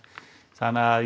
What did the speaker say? þannig að